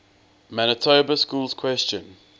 manitoba schools question